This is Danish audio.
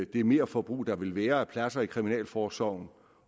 det merforbrug der vil være af pladser i kriminalforsorgen